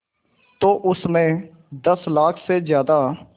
तो उस में दस लाख से ज़्यादा